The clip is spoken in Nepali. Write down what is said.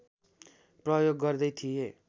प्रयोग गर्दै थिए